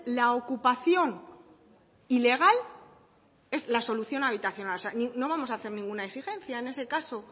la ocupación ilegal es la solución habitacional no vamos a hacer ninguna exigencia en ese caso